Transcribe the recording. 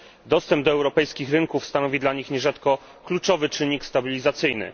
Dostęp do europejskich rynków stanowi dla nich nierzadko kluczowy czynnik stabilizacyjny.